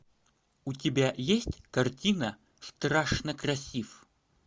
у тебя есть картина страшно красив